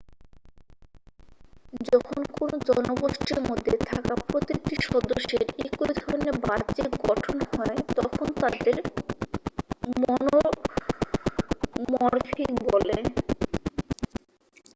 যখন কোনও জনগোষ্ঠীর মধ্যে থাকা প্রতিটি সদস্যের একই ধরনের বাহ্যিক গঠনহয় তখন তাদের মনোমরফিক' বলে